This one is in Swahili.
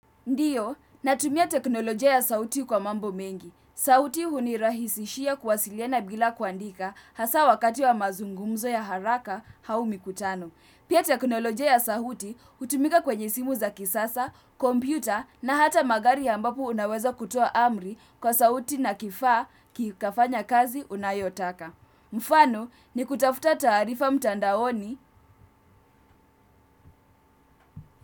Ndio natumia teknolojia ya sauti kwa mambo mengi sauti hunirahisishia kuwasiliana bila kuandika hasa wakati wa mazungumzo ya haraka au mikutano. Pia teknolojia ya sauti hutumika kwenye simu za kisasa, kompyuta na hata magari ambapo unaweza kutoa amri kwa sauti na kifaa kikafanya kazi unayotaka. Mfano ni kutafuta taarifa mtandaoni.